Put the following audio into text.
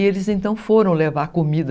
E eles então foram levar comida.